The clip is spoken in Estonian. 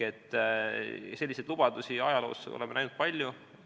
Selliseid lubadusi oleme ajaloos näinud palju.